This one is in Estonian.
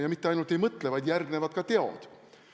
Ja mitte ainult ei mõtle, vaid järgnevad ka teod.